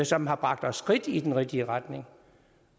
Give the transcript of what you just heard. som har bragt os skridt i den rigtige retning